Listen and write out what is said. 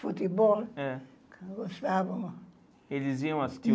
Futebol, eh gostava. Eles iam assistir?